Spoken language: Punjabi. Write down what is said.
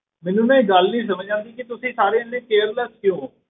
ਮੈਨੂੰ ਨਾ ਇਹ ਗੱਲ ਨੀ ਸਮਝ ਆਉਂਦੀ ਕਿ ਤੁਸੀਂ ਸਾਰੇ ਇੰਨੇ careless ਕਿਉਂ ਹੋ